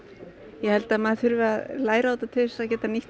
ég held að maður þurfi að læra á þetta til þess að geta nýtt